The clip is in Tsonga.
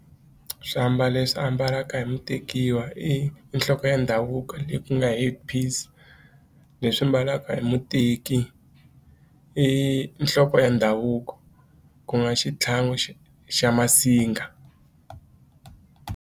Swiambalo leswi ambalaka hi mutekiwa i i nhloko ya ndhavuko leyi ku nga head piece leswi mbalaka hi muteki i i nhloko ya ndhavuko ku nga xitlhangu xa xa masinga.